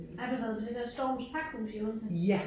Har du været på det der Storms Pakhus i Odense?